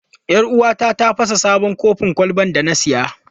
Yar uwata ta fasa sabon kofin kwalban da na saya.